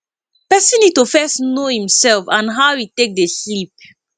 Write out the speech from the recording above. person need to first know im self and how e take dey sleep